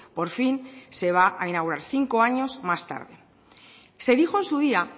por fin se va a inaugurar cinco años más tarde se dijo en su día